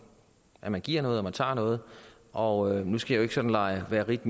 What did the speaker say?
at man giver noget og tager noget og nu skal jeg jo ikke sådan lege ritt